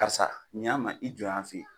Karisa ɲɛ an ma i jɔ yan fɛ yen.